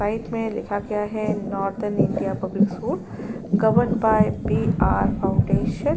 White में लिखा गया है northern India public school governed by B R foundation.